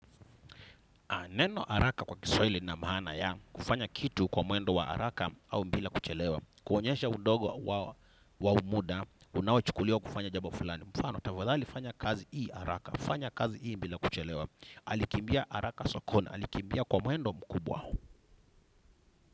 Neno haraka kwa kiswahili lina maana ya, kufanya kitu kwa mwendo wa haraka au bila kuchelewa. Kuonyesha udogo wa muda, unao chukuliwa kufanya jambo fulani. Mfano, tafadhali fanya kazi hii haraka, fanya kazi hii bila kuchelewa. Alikimbia haraka sokoni, alikimbia kwa mwendo mkubwa.